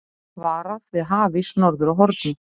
Varað við hafís norður af Horni